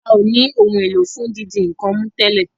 ào ní Ohun èlò fún dídi nǹkan mú tèlé.